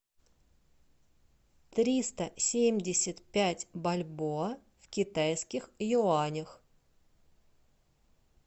триста семьдесят пять бальбоа в китайских юанях